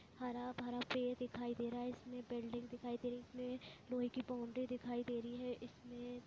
हरा-भरा पेड़ दिखाई दे रहा है इसमें बेल्डिंग दिखाई दे रही है इसमें लोहे की बाउंड्री दिखाई दे रही है इसमें।